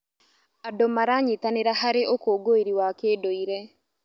Andũ maranyitanĩra harĩ ũkũngũĩri wa kĩndũire.